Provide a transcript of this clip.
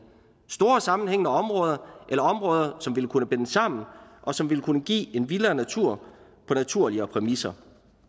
store og sammenhængende områder eller områder som vil kunne bindes sammen og som ville kunne give en vildere natur på naturligere præmisser